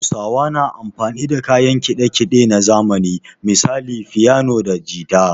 Hausawa na amfani da kayan kiɗa kiɗe na zamani misali fiyano da jita